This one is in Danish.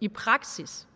i praksis